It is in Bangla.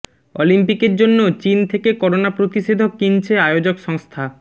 অলিম্পিকের জন্য চিন থেকে করোনা প্রতিষেধক কিনছে আয়োজক সংস্থা